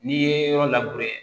N'i ye yɔrɔ